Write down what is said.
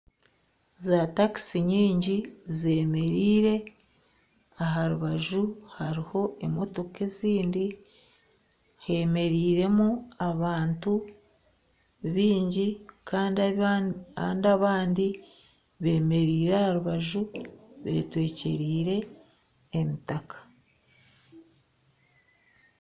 Zaatakiisi nyingi zeemereire, aha rubaju hariho emotoka ezindi hemereiremu abantu baingi kandi abandi beemereire aha rubaju beetwekyereire emitaka